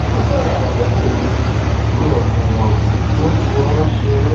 mo fẹràn mọlẹbí mi mi ò mi ò sì kì í fi wọn ṣeré